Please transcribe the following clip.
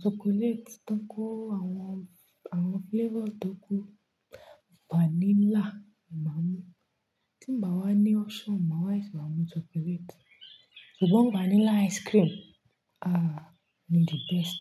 chocolate, tí ó kó àwọn, àwọn flavor tó kù, vanilla mà á mú. Tí ì bá wá ní option mà á ṣe wáa mú chocolate. Ṣùgbọ́n vanilla ice cream, ah! Ni the best.